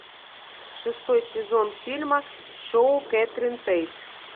шестой сезон фильма шоу кэтрин тейт